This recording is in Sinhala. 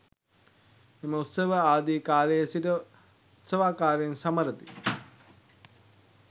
මෙම උත්සවය ආදි කාලයේ සිට උත්සවාකාරයෙන් සමරති.